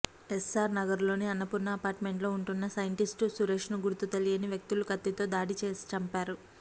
SR నగర్లోని అన్నపూర్ణ అపార్మెంట్లో ఉంటున్న సైంటిస్ట్ సురేష్ను గుర్తు తెలియని వ్యక్తులు కత్తితో దాడి చేసి చంపారు